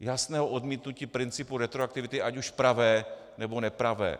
jasného odmítnutí principu retroaktivity, ať už pravé, nebo nepravé?